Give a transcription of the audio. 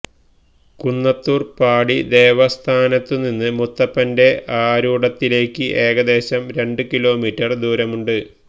കുന്നത്തൂര്പാടി ദേവസ്ഥാനത്തുനിന്ന് മുത്തപ്പന്റെ ആരൂഢത്തിലേക്ക് ഏകദേശം രണ്ട് കിലോമീറ്റര് ദൂരമുണ്ട്